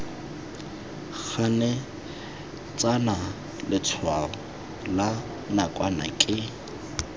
ganetsana letshwao la nakwana ke